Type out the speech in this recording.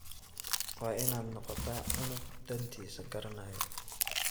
Waad ina noqota cunuq dhantisaa karanayo.